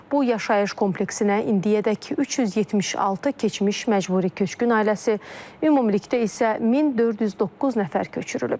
Bu yaşayış kompleksinə indiyədək 376 keçmiş məcburi köçkün ailəsi, ümumilikdə isə 1409 nəfər köçürülüb.